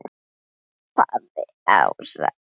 hrópaði Ása.